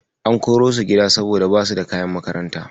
An korosu gida saboda basu da kayan makaranta.